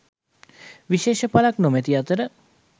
විශේෂ පලක් නොමැති අතර